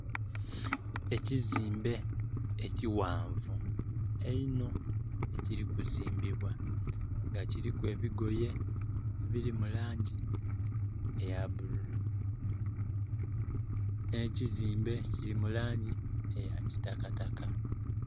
Ekizimbe ekighanvu einno ekili ku zimbibwa nga kiliku ebigoye ebiri mu langi eya bululu ne kizimbe kili mu langi eya kitakataka